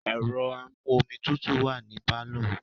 Ẹ̀rọ amú-omi tutù wà ní pálọ̀.